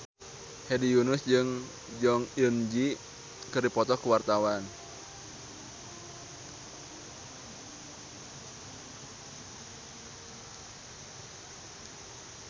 Hedi Yunus jeung Jong Eun Ji keur dipoto ku wartawan